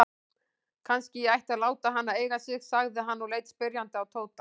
Kannski ég ætti að láta hana eiga sig? sagði hann og leit spyrjandi á Tóta.